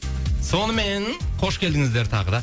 сонымен қош келдіңіздер тағы да